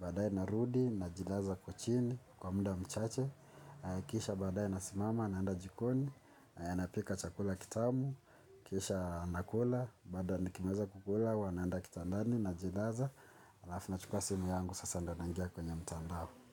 Badaye na rudi, najilaza kwa chini, kwa muda mchache. Kisha badaye na simama, naenda jikoni, na pika chakula kitamu. Kisha nakula, baada nikimaliza kukula, huwa naenda kitandani najilaza alafu na chukua simu yangu, sasa ndio naingia kwenye mtandao.